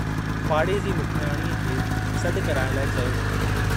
पाड़े जी मुखियाणीअ खे सड्डु कराइण लाइ चयो वियो।